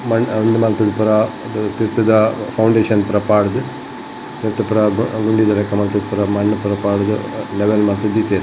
ಉಂದು ಮಂತುದು ಪೂರ ತಿರ್ತುದ ಫೌಂಡೇಷನ್ ಪೂರ ಪಾರ್ದ್ ನೆಟ್ಟ್ ಪೂರ ಗುಂಡಿದ ಲೆಕ ಮಲ್ತ್ ಪುರ ಮಣ್ನ್ ಪೂರ ಪಾರ್ದ್ ಲೆವೆಲ್ ಮಲ್ತ್ ದೀತೆರ್.